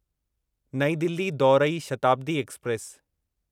नईं दिल्ली दौरई शताब्दी एक्सप्रेस